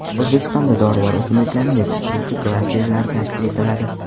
O‘zbekistonda dorivor o‘simliklarni yetishtiruvchi klasterlar tashkil etiladi.